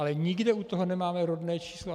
Ale nikde u toho nemáme rodné číslo.